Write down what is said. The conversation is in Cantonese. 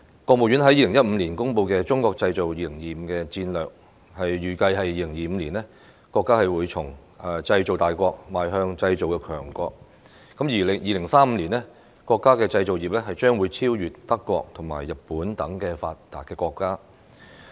國務院在2015年公布的"中國製造 2025" 戰略，預計2025年，國家會從製造大國邁向製造強國，而2035年，國家的製造業將會超越德國和日本等發達國家。